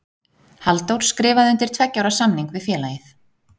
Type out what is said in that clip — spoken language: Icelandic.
Halldór skrifaði undir tveggja ára samning við félagið.